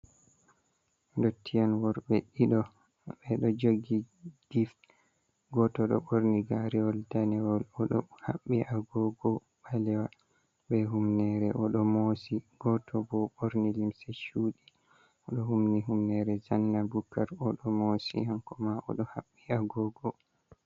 Ndottiyen worɓe ɗiɗo ɓeɗo jogi gif, goto ɗo ɓorni garewol danewol, oɗo haɓɓi agogo ɓalewa be humnere oɗo mosi, goto bo ɓorni limse shuɗi oɗo humni humnere zanna bukar, oɗo mosi hankoma oɗo haɓɓi agogo.